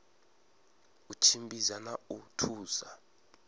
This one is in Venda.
u tshimbidza na u thusa